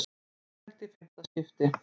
Framlengt í fimmta skiptið